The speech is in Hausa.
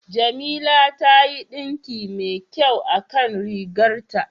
Jamila ta yi ɗinki mai kyau a kan rigar ta.